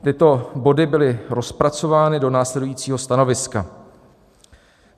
Tyto body byly rozpracovány do následujícího stanoviska.